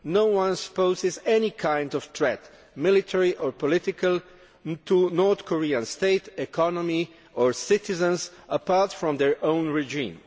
No one poses any kind of threat, military or political, to the North Korean state, economy or citizens apart from their own regime.